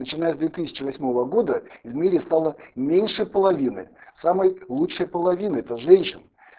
начиная с две тысячи восьмого года в мире стало меньше половины самый лучшей половины это женщин